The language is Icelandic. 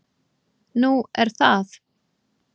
"""Nú, er það?"""